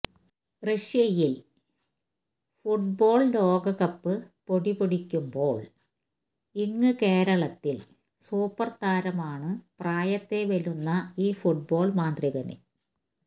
റഷ്യയില് ഫുട്ബോള് ലോകകപ്പ് പൊടിപൊടിക്കുമ്പോള് ഇങ്ങ് കേരളത്തില് സൂപ്പര്താരമാണ് പ്രായത്തെ വെല്ലുന്ന ഈ ഫുട്ബോള് മാന്ത്രികന്